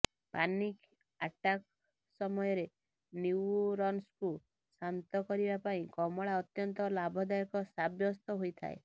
panic attack ସମୟରେ ନ୍ୟୁରନ୍ସକୁ ଶାନ୍ତ କରିବା ପାଇଁ କମଳା ଅତ୍ୟନ୍ତ ଲାଭଦାୟକ ସାବ୍ୟସ୍ତ ହୋଇଥାଏ